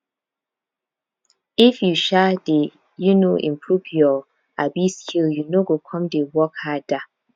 if you um dey um improve your um skill you no go come dey work harder